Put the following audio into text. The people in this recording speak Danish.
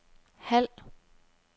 halv